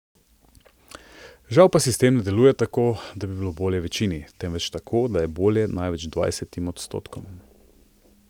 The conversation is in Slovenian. Žal pa sistem ne deluje tako, da bi bilo bolje večini, temveč tako da je bolje največ dvajsetim odstotkom.